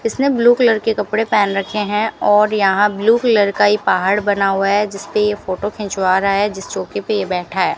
इसने blue colour के कपड़े पेहन रखे हैं और यहां ब्ल्यू कलर का ही पहाड़ बना हुआ है जिसपे ये फोटो खिंचवा रहा है जिस चौके पे ये बैठा है।